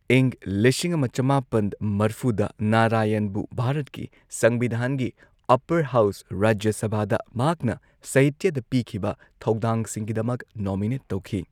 ꯏꯪ ꯂꯤꯁꯤꯡ ꯑꯃ ꯆꯃꯥꯄꯟ ꯃꯔꯐꯨꯗ ꯅꯥꯔꯥꯌꯟꯕꯨ ꯚꯥꯔꯠꯀꯤ ꯁꯪꯕꯤꯙꯥꯟꯒꯤ ꯑꯞꯄꯔ ꯍꯥꯎꯁ, ꯔꯥꯖ꯭ꯌ ꯁꯚꯥꯗ, ꯃꯍꯥꯛꯅ ꯁꯍꯤꯇ꯭ꯌꯗ ꯄꯤꯈꯤꯕ ꯊꯧꯗꯥꯡꯁꯤꯡꯒꯤꯗꯃꯛ ꯅꯣꯃꯤꯅꯦꯠ ꯇꯧꯈꯤ꯫